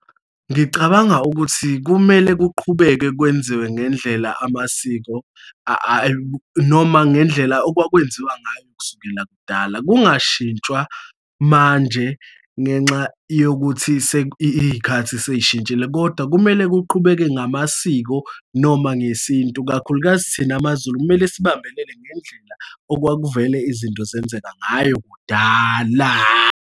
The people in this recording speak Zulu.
Ngicabanga ukuthi kumele kuqhubekwe kwenziwe ngendlela amasiko noma ngendlela okwakwenziwa ngayo kusukela kudala, kungashintshwa manje ngenxa yokuthi iy'khathi sey'shintshile, kodwa kumele kuqhubeke ngamasiko noma ngesintu, kakhulukazi thina maZulu, kumele sibambelele ngendlela okwakuvela izinto zenzeka ngayo kudala.